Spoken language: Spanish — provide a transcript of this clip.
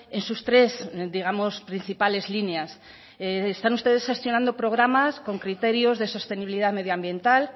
en sus tres digamos principales líneas están ustedes gestionando programas con criterios de sostenibilidad medioambiental